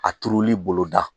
A turuli bolo da